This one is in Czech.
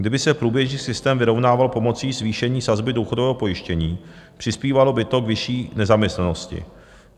Kdyby se průběžný systém vyrovnával pomocí zvýšení sazby důchodového pojištění, přispívalo by to k vyšší nezaměstnanosti.